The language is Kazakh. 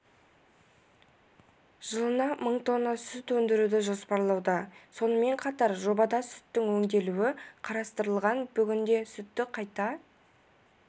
жылына мың тонна сүт өндіруді жоспарлауда сонымен қатар жобада сүттің өңделуі қарастырылған бүгінде сүтті қайта